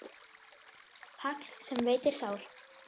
Hagl sem veitir sár.